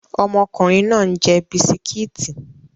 Ọmọkùnrin náà ń jẹ bisikíìtì